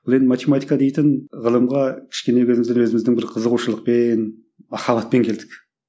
бұл енді математика дейтін ғылымға кішкене кезімізден өзіміздің бір қызығушылықпен махаббатпен келдік